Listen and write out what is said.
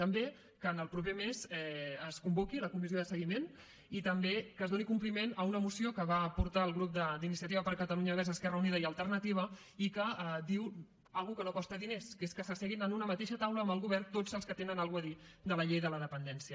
també que en el proper mes es convoqui la comissió de seguiment i també que es doni compliment a una moció que va portar el grup d’iniciativa per catalunya verds esquerra unida i alternativa i que diu una cosa que no costa diners que és que s’asseguin en una mateixa taula amb el govern tots els que tenen alguna cosa a dir de la llei de la dependència